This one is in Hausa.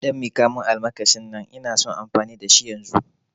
Ɗan miƙamun almakashin nan ina son amfani da shi yanzu